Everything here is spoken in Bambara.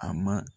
A ma